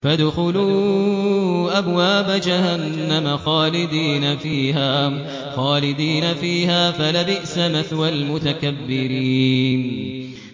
فَادْخُلُوا أَبْوَابَ جَهَنَّمَ خَالِدِينَ فِيهَا ۖ فَلَبِئْسَ مَثْوَى الْمُتَكَبِّرِينَ